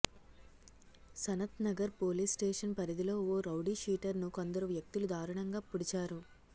Sanathnagar police station పరిధిలో ఓ రౌడీషీటర్ను కొందరు వ్యక్తులు దారుణంగా పొడిచారు